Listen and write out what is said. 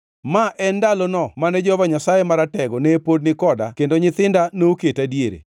ma en ndalono ma Jehova Nyasaye Maratego ne pod ni koda kendo nyithinda noketa diere,